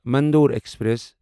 Mandore express